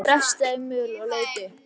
Hann heyrði bresta í möl og leit upp.